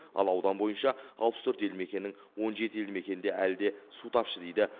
ал аудан бойынша алпыс төрт елді мекеннің он жеті елді мекенінде әлі де су тапшы дейді